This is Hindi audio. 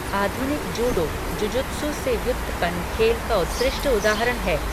आधुनिक जूडो, जुजुत्सु से व्युत्पन्न खेल का उत्कृष्ट उदाहरण है।